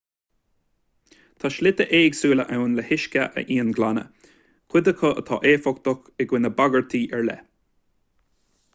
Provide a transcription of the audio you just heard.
tá slite éagsúla ann le huisce a íonghlanadh cuid acu atá éifeachtach i gcoinne bagairtí ar leith